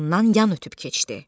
Ondan yan ötüb keçdi.